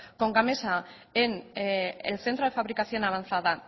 con gamesa en el centro de fabricación avanzada